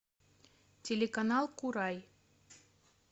телеканал курай